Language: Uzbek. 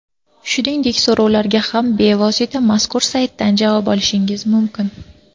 Shuningdek, so‘rovlarga ham bevosita mazkur saytdan javob olish mumkin.